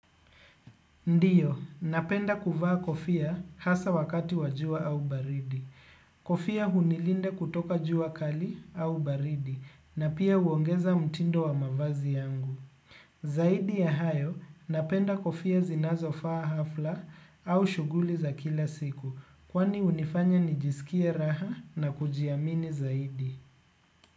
Ndiyo, napenda kuvaa kofia hasa wakati wa jua au baridi. Kofia hunilinda kutoka jua kali au baridi na pia huongeza mtindo wa mavazi yangu. Zaidi ya hayo, napenda kofia zinazofaa hafla au shughuli za kila siku kwani hunifanya nijisikie raha na kujiamini zaidi.